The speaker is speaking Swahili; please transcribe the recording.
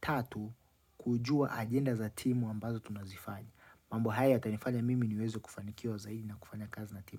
Tatu, kujua agenda za timu ambazo tunazifanya. Mambo haya yatanifanya mimi niweze kufanikiwa wa zaidi na kufanya kazi na timu mbali.